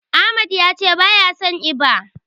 Ahmad yace baya son eba.